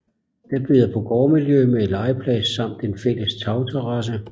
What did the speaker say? Den byder på gårdmiljø med legeplads samt en fælles tagterrasse